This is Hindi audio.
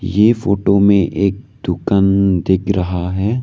ये फोटो में एक दुकान दिख रहा है।